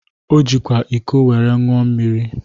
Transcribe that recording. O jikwa iko were ńụọ mmiri.